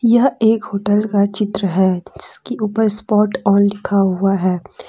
यह एक होटल का चित्र है जिसकी ऊपर स्पॉट ऑन लिखा हुआ है।